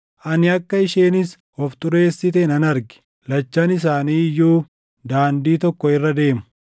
Ani akka isheenis of xureessite nan arge; lachan isaanii iyyuu daandii tokko irra deemu.